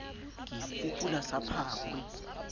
ke e fuphula sa phakwe